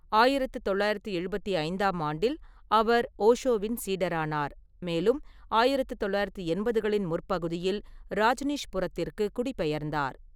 ஆயிரத்து தொள்ளாயிரத்து எழுபத்தி ஐந்தாம் ஆண்டில், அவர் ஓஷோவின் சீடரானார், மேலும் 1980 களின் முற்பகுதியில், ராஜ்னீஷ்புரத்திற்கு குடிபெயர்ந்தார்.